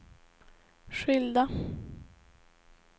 skilda